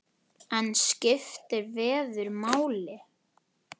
En skiptir veður máli?